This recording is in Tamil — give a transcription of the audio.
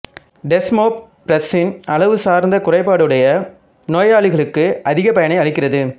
டெஸ்மோப்பிரஸ்ஸின் அளவு சார்ந்த குறைபாடுடைய நோயளிகளுக்கு அதிக பயனை அளிக்கிறது